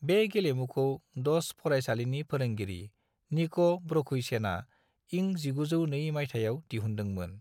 बे गेलेमुखौ डस फरायसालिनि फोरोंगिरि निको ब्रोखुयसेना इं 1902 माइथायाव दिहुनदोंमोन।